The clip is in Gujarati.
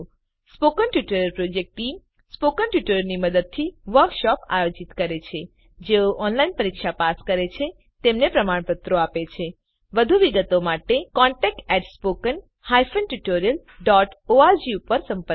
spoken tutorial project team spoken ટ્યુટોરીયલોનાં મદદથી વર્કશોપોનું આયોજન કરે છે જેઓ ઓનલાઈન પરીક્ષા પાસ કરે છે તેમને પ્રમાણપત્રો આપે છે વધુ વિગત માટે કૃપા કરી contactspoken tutorialorg નો સંદર્ભ લો